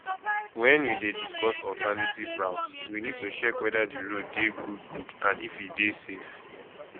when we dey discuss alternative route we need to check weda di road dey good good and if e dey safe